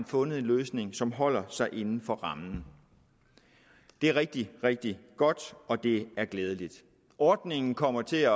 fundet en løsning som holder sig inden for rammen det er rigtig rigtig godt og det er glædeligt ordningen kommer til